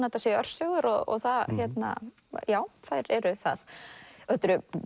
þetta séu örsögur og já þær eru það þetta eru